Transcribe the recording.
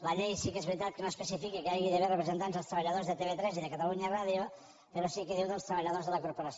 la llei sí que és veritat que no especifica que hi hagi d’haver representants dels treballadors de tv3 i de catalunya ràdio però sí que diu dels treballadors de la corporació